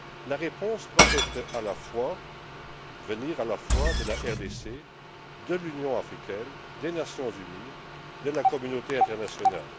La réponse doit venir à la fois de la RDC, de l'Union africaine, des Nations unies, et de la communauté internationale.